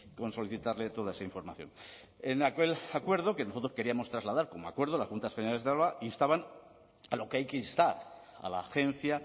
con solicitarle toda esa información en aquel acuerdo que nosotros queríamos trasladar como acuerdo las juntas generales de álava instaban a lo que hay que instar a la agencia